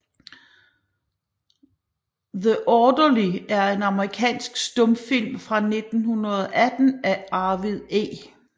The Orderly er en amerikansk stumfilm fra 1918 af Arvid E